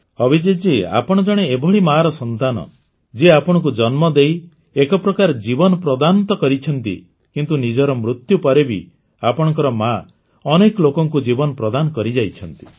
ଅଭିଜିତ୍ ଜୀ ଆପଣ ଜଣେ ଏଭଳି ମାର ସନ୍ତାନ ଯିଏ ଆପଣଙ୍କୁ ଜନ୍ମ ଦେଇ ଏକପ୍ରକାର ଜୀବନ ପ୍ରଦାନ ତ କରିଛନ୍ତି କିନ୍ତୁ ନିଜର ମୃତ୍ୟୁ ପରେ ବି ଆପଣଙ୍କର ମା ଅନେକ ଲୋକଙ୍କୁ ଜୀବନ ପ୍ରଦାନ କରିଯାଇଛନ୍ତି